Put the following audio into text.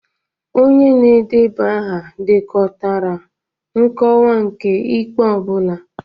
Onye na-edeba aha dekọtara nkọwa nke ikpe ọ bụla.